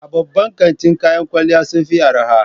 A babban kantin kayan kwalliya sun fi arha